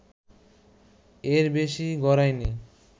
এর বেশি গড়ায়নি